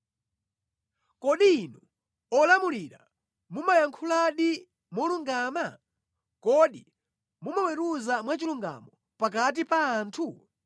Kodi inu olamulira mumayankhuladi molungama? Kodi mumaweruza mwachilungamo pakati pa anthu?